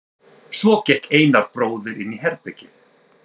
Svo gekk Einar bróðir inn í herbergið.